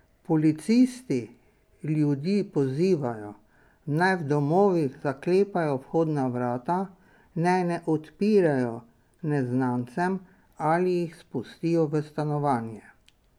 Policisti ljudi pozivajo, naj v domovih zaklepajo vhodna vrata, naj ne odpirajo neznancem ali jih spustijo v stanovanje.